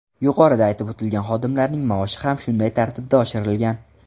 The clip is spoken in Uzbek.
Yuqorida aytib o‘tilgan xodimlarning maoshi ham shunday tartibda oshirilgan.